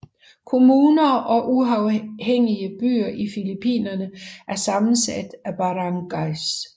Kommuner og uafhængige byer i Filippinerne er sammensat af barangays